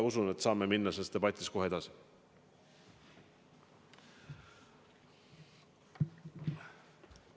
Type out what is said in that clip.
Usun, et me saame selles debatis kohe edasi minna.